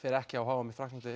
ekki á h m í Frakklandi